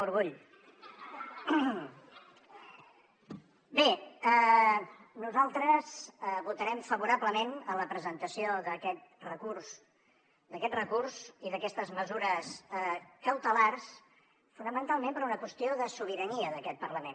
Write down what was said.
bé nosaltres votarem favorablement a la presentació d’aquest recurs d’aquest recurs i d’aquestes mesures cautelars fonamentalment per una qüestió de sobirania d’aquest parlament